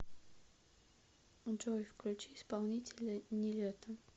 джой включи исполнителя нилетто